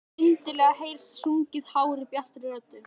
Skyndilega heyrist sungið hárri, bjartri röddu.